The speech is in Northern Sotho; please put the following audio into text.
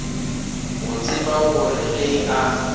go tseba gore ge a